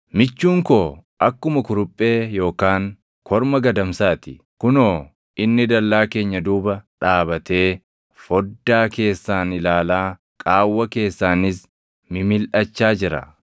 Michuun koo akkuma kuruphee yookaan korma gadamsaa ti. Kunoo inni dallaa keenya duuba dhaabatee foddaa keessaan ilaalaa qaawwa keessaanis mimilʼachaa jira.